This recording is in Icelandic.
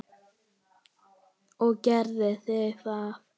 Og gerið þið það?